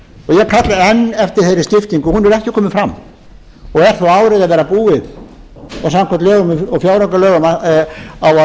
ég kalla enn eftir þeirri skiptingu hún hefur ekki komið fram og er þó árið að verða búið og samkvæmt lögum og fjáraukalögum á að